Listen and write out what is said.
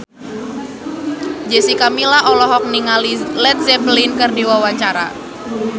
Jessica Milla olohok ningali Led Zeppelin keur diwawancara